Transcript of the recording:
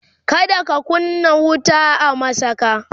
kada ka kunna wuta a masaka!